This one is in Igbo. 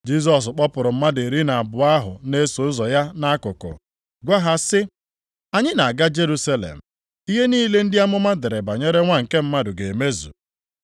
Jisọs kpọpụrụ mmadụ iri na abụọ ahụ na-eso ụzọ ya nʼakụkụ, gwa ha sị, “Anyị na-aga Jerusalem, ihe niile ndị amụma dere banyere Nwa nke Mmadụ ga-emezu.